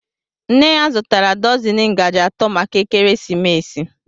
Nne ya zụtara dọzini ngaji atọ maka ekeresimesi.